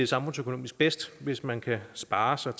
samfundsøkonomisk bedst hvis man kan spare sig